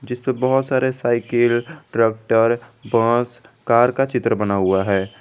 इसपे बहुत सारे साइकिल ट्रैक्टर बस कार का चित्र बना हुआ है।